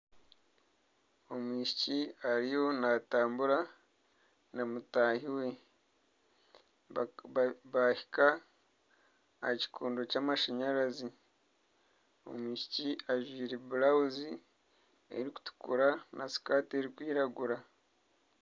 Omwishiki ariyo naatubara na mutaahi we, baahika aha kikondo ky'amashanyarazi, omwishiki ajwire burawuzi erikutukura na sikati erikwiragura